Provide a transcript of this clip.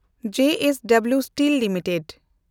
ᱡᱮ S W steel limited